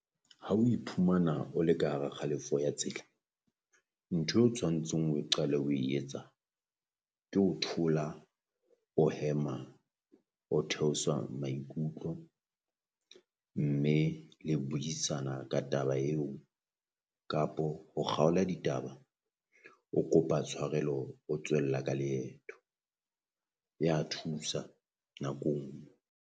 Ha o iphumana o le ka hara kgalefo ya tsela, nthwe o tshwantsheng o qale o e etsa, ke ho thola o hema o theosa maikutlo mme le buisana ka taba eo. Kapo ho kgaola ditaba o kopa tshwarelo o tswella ka leeto ya thusa nako